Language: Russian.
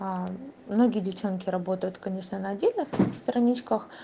а многие девчонки работают конечно на отдельных страничках